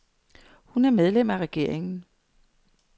Hun er medlem af regeringen.